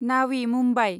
नावि Mumbai